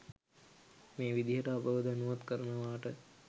මේ විදිහට අපව දැනුවත් කරනවාට